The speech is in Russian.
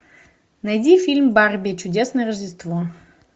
найди фильм барби чудесное рождество